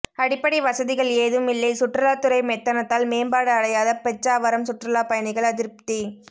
அடிப்படை வசதிகள் ஏதுமில்லை சுற்றுலாத்துறை மெத்தனத்தால் மேம்பாடு அடையாத பிச்சாவரம் சுற்றுலா பயணிகள் அதிருப்தி